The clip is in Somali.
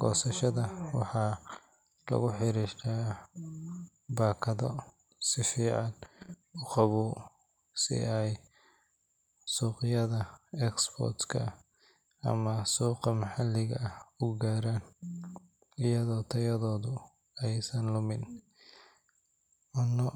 goosashada, waxaa lagu xirxiraa baakado si fiican u qabow, si ay suuqyada export-ka ama suuqa maxalliga ah u gaaraan iyadoo tayadoodu aysan lumin. Cunno.